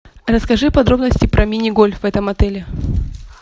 расскажи подробности про мини гольф в этом отеле